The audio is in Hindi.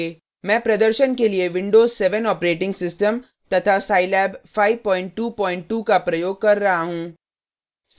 मैं प्रदर्शन के लिए windows 7 ऑपरेटिंग सिस्टम तथा scilab 522 का प्रयोग कर रहा हूँ